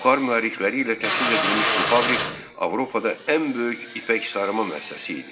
Buxar mühərrikləri ilə təchiz edilmiş bu fabrik Avropada ən böyük ipək sərima müəssisəsi idi.